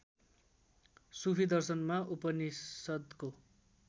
सुफि दर्शनमा उपनिषद्को